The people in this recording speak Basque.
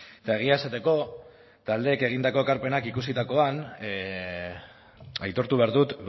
eta egia esateko taldeek egindako ekarpenak ikusitakoan aitortu behar dut